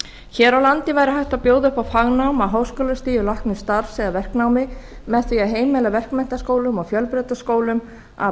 hér á landi væri hægt að bjóða upp á fagnám á háskólastigi læknisstarfs eða verknámi með því að heimila verkmenntaskólum og fjölbrautaskólum að